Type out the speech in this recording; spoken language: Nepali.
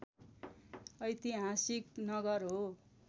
ऐतिहासिक नगर हो